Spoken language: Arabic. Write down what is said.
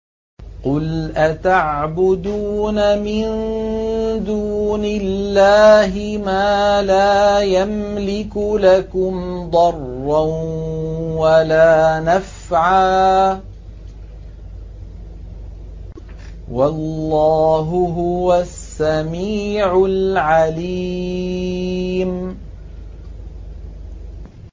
قُلْ أَتَعْبُدُونَ مِن دُونِ اللَّهِ مَا لَا يَمْلِكُ لَكُمْ ضَرًّا وَلَا نَفْعًا ۚ وَاللَّهُ هُوَ السَّمِيعُ الْعَلِيمُ